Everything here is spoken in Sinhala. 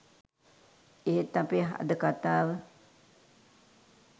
එහෙත් අපේ අද කතාව